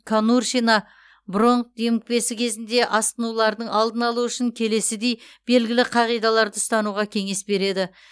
конуршина бронх демікпесі кезінде асқынулардың алдын алу үшін келесідей белгілі қағидаларды ұстануға кеңес береді